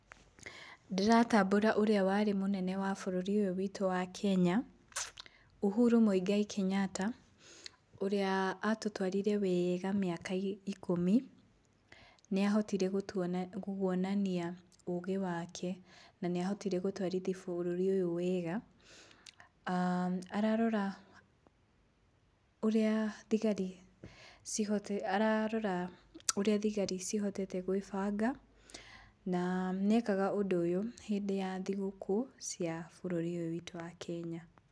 Ndĩratambũra ũrĩa warĩ mũnene wa bũrũri ũyũ witũ wa Kenya, Uhuru Mũigai Kenyatta. Ũrĩa atũtwarire weega mĩaka ikũmi, nĩahotire kuonania ũgĩ wake. Na nĩahotire gũtwarithia bũrũri ũyũ wega. aah Ararora ũrĩa thigari cihotete, ararora ũrĩa thigari cihotete gwĩbanga na nĩekaga ũndũ ũyũ hĩndĩ ya thigũkũ cia bũrũri ũyũ witũ wa Kenya.